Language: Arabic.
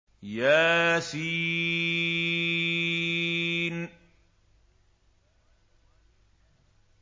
يس